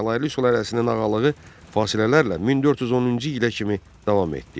Cəlalirli sülaləsinin ağalığı fasilələrlə 1410-cu ilə kimi davam etdi.